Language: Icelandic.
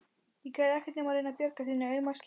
Ég gerði ekkert nema reyna að bjarga þínu auma skinni.